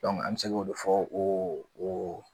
an bɛ se k'o de fɔ o o